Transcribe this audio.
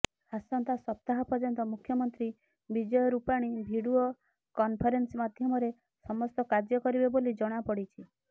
ଆସନ୍ତା ସପ୍ତାହ ପର୍ଯ୍ୟନ୍ତ ମୁଖ୍ୟମନ୍ତ୍ରୀ ବିଜୟ ରୂପାଣୀ ଭିଡ଼ିଓ କନଫରେନ୍ସ ମାଧ୍ୟମରେ ସମସ୍ତ କାର୍ଯ୍ୟ କରିବେ ବୋଲି ଜଣାପଡ଼ିଛି